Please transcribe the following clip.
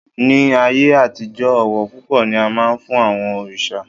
Ní ayé àtijọ́, ọ̀wọ̀ púpọ̀ ni a máa ń fún àwọn òrìṣà